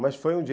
Mas foi um dia.